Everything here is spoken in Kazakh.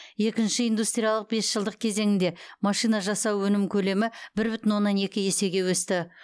екінші индустриялық бес жылдық кезеңінде машина жасауда өнім көлемі бір бүтін оннан екі есеге өсті